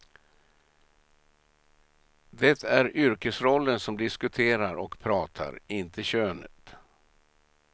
Det är yrkesrollen som diskuterar och pratar, inte könet.